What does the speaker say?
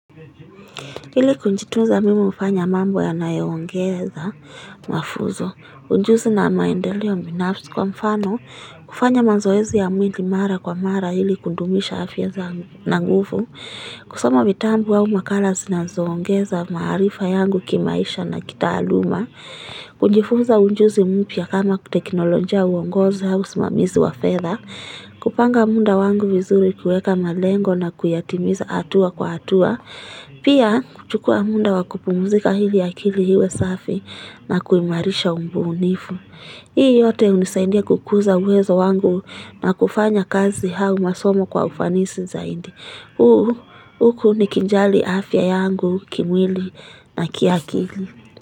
Ili kujitunza mimi hufanya mambo yanayoongeza mafunzo ujuzi na maendeleo binafsi kwa mfano kufanya mazoezi ya mwili mara kwa mara ili kudumisha afya yangu na nguvu kusoma vitabu wa makala zinazoongeza maarifa yangu kimaisha na kitaaluma kujifunza ujuzi mpya kama tekinolojia uongozi au usimamizi wa fedha. Kupanga muda wangu vizuri kuweka malengo na kuyatimiza hatua kwa hatua Pia kuchukua muda wakupumuzika ili akili iwe safi na kuimarisha ubunifu. Hii yote hunisaidia kukuza uwezo wangu na kufanya kazi au masomo kwa ufanisi zaidi. Huku nikijali afya yangu kimwili na kiakili.